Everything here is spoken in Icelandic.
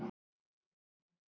Og hér myndi hún deyja.